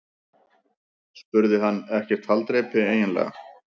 spurði hann: Ekkert haldreipi eiginlega.